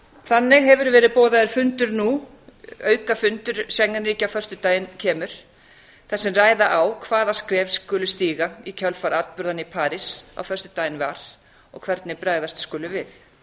þannig hefur verið boðaður fundur nú aukafundur schengen ríkja á föstudaginn kemur þar sem ræða á hvaða skref skuli stíga í kjölfar atburðanna í parís á föstudaginn var og hvernig bregðast skuli við